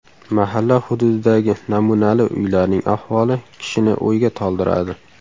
Mahalla hududidagi namunali uylarning ahvoli kishini o‘yga toldiradi.